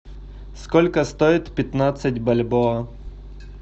сколько стоит пятнадцать бальбоа